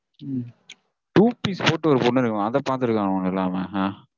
உம் two piece போட்டுட்டு ஒரு பொண்ணு இருக்கு mam. அத பாத்திருக்கானுங்க எல்லாமே